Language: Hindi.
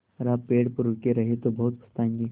अगर आप पेड़ पर रुके रहे तो बहुत पछताएँगे